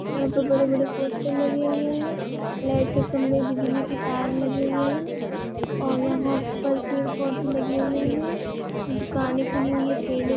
यहाँ तो बड़े-बड़े पोस्टर लगे हुए हैं लाइट के खम्बे बिजली के तार लगे हुए हैं और यहाँ पर पेड़-पौधे लगे हुए हैं दुकाने खुली हुई हैं ठेले--